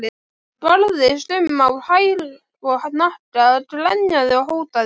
Barðist um á hæl og hnakka, grenjaði og hótaði.